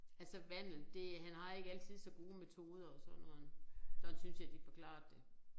Altså vandel det han har ikke altid så gode metoder og sådan noget. Sådan synes jeg de forklarede det